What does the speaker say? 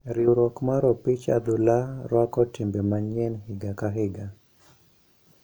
Riwruok mar opich adhula rwako timbe manyien higa ka higa.